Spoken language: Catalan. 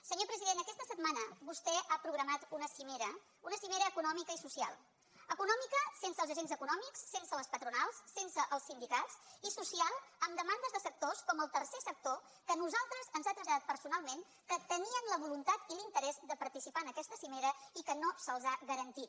senyor president aquesta setmana vostè ha programat una cimera una cimera econòmica i social econòmica sense els agents econòmics sense les patronals sense els sindicats i social amb demandes de sectors com el tercer sector que a nosaltres ens ha traslladat personalment que tenien la voluntat i l’interès de participar en aquesta cimera i que no se’ls ha garantit